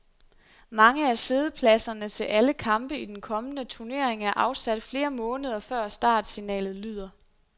Mange af siddepladserne til alle kampe i den kommende turnering er afsat flere måneder, før startsignalet lyder.